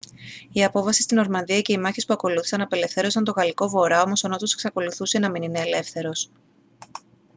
η απόβαση στη νορμανδία και οι μάχες που ακολούθησαν απελευθέρωσαν τον γαλλικό βορρά όμως ο νότος εξακολουθούσε να μην είναι ελεύθερος